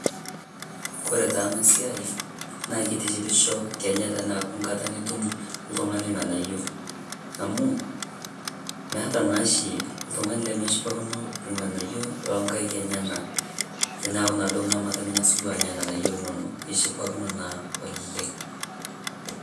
Kore taa ana siai naa keitishipisho kenya teanaku nkaata nituum ltung'ani lng'anaiyo, amu meeta naashi ltung'ani nimeshipakino lng'anaiyo lo nkaaik enyanak. Tenaaku naa doo ng'amata ning'aas doo anyaa lng'anaiyo linono eshipakino naa oleng.